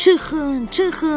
"Çıxın, çıxın!"